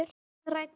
Við rætur